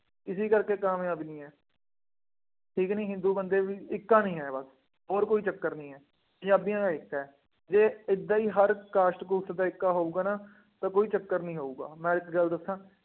ਇਸੇ ਕਰਕੇ ਕਾਮਯਾਬੀ ਨਹੀਂ ਹੈ। ਠੀਕ ਕਿ ਨਹੀਂ ਦੋ ਬੰਦੇ ਇੱਕ ਕਹਾਣੀ ਹੈ ਬੱਸ, ਹੋਰ ਕੋਈ ਚੱਕਰ ਨਹੀਂ ਹੈ, ਪੰਜਾਬੀਆਂ ਦਾ ਏਕਾ ਹੈ। ਜੇ ਏਦਾਂ ਹੀ ਹਰ cast ਕੂਸਟ ਦਾ ਏਕਾ ਹੋਊਗਾ ਨਾ ਤਾਂ ਕੋਈ ਚੱਕਰ ਨਹੀਂ ਹੋਊਗਾ, ਮੈਂ ਇੱਕ ਗੱਲ ਦੱਸਾਂ,